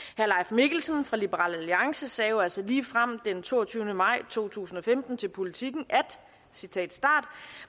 mikkelsen fra liberal alliance sagde jo altså ligefrem den toogtyvende maj to tusind og femten til politiken at